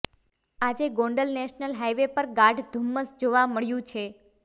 આજે Gondal national highway પર ગાઢ ધુમ્મસ જોવા મળ્યું છે